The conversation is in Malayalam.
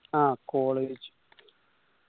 ആ college